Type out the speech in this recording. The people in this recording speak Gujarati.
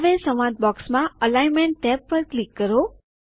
હવે સંવાદ બોક્સમાં અલાઈનમેન્ટ ટેબ પર ક્લિક કરો